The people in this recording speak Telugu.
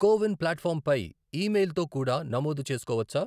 కో విన్ ప్లాట్ఫాం పై ఈమెయిల్తో కూడా నమోదు చేసుకోవచ్చా?